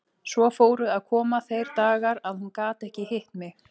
Svo fóru að koma þeir dagar að hún gat ekki hitt mig.